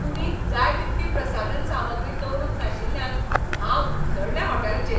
कुडींत जाय तितली प्रसाधन सामग्री दवरूंक नाशिल्ल्यान हांव उसळ्ळें होटॅलाचेर.